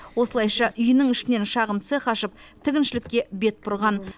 осылайша үйінің ішінен шағын цех ашып тігіншілікке бет бұрған